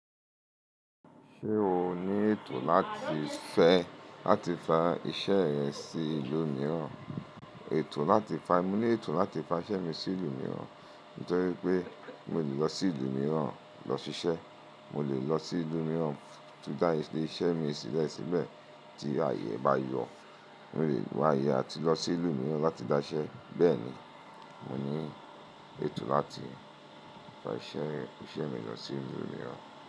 Ṣé o ní ètò láti fẹ́ láti fa iṣẹ́ rẹ sí ìlú mìíràn? Ètò láti fa Mo ní ètò láti fa iṣẹ́ mi sí ìlú mìíràn, nítorí pé mo lè lọ sí ìlú mìíràn lọ ṣiṣẹ́. Mo lè lọ sí ìlú mìíràn láti dá iṣẹ́ mi sílẹ̀ síbẹ̀ tí àyè bá yọ. Mo lè wá àyè àti lọ sí ìlú mìíràn láti dá iṣẹ́. Bẹ́ẹ̀ ni, mo ní ètò láti fa iṣẹ́, iṣẹ́ mi lọ sí ìlú mìíràn.